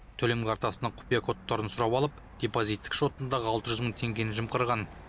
төлем картасының құпия кодтарын сұрап алып депозиттік шотындағы алты жүз мың теңгені жымқырған